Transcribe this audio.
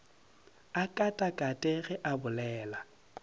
a katakate ge a bolela